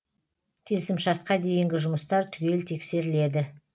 келісімшартқа дейінгі жұмыстар түгел тексеріледі